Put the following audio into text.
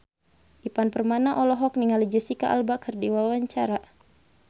Ivan Permana olohok ningali Jesicca Alba keur diwawancara